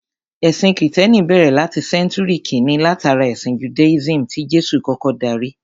Ẹ̀sìn Kìtẹ́ẹ́nì bẹ̀rẹ̀ láti Sẹ́ńtúrì kíni látara ẹ̀sìn Judaism tí Jésù kọ́kọ́ darí.